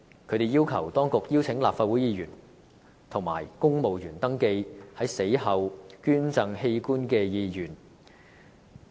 他們要求當局邀請立法會議員及公務員登記在死後捐贈器官的意願。